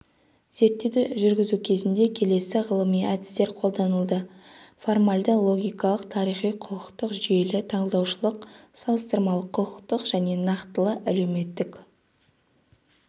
зерттеуді жүргізу кезінде келесі ғылыми әдістер қолданылды формальды-логикалық тарихи-құқықтық жүйелі-талдаушылық салыстырмалы-құқықтық және нақтылы-әлеуметтік